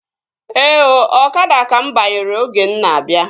Ee ooo, ọkada ka mụ banyere oge m na-abịa